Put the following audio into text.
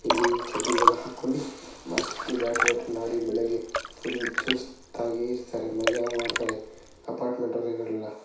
ಇಲ್ಲಿ ಚಡ್ಡಿಗಳನ್ನು ಹಾಕೊಂಡಿ ಮಸ್ತ್ ಬ್ಯಾಡ್ಮಿಂಟನ್ ಆದಿ ಬೆಳಗ್ಗೆ ಫುಲ್ ಚುಸ್ತಾಗಿ ಇರ್ತಾರೆ ಮಜಾ ಮಾಡ್ತಾರೆ. ಅಪಾರ್ಟ್ಮೆಂಟ್ ಇರೋರೆಲ್ಲ.